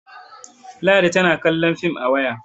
ladi tana kallon fim a waya